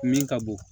Min ka bon